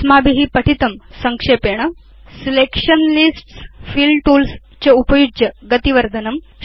अस्माभि पठितं संक्षेपेण चयन आवलिं फिल टूल्स् च उपयुज्य गति वर्धनम्